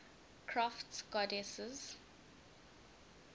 crafts goddesses